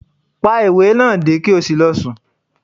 Pá ìwé náà dé, ki o sí lọ sùn!